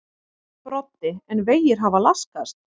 Broddi: En vegir hafa laskast?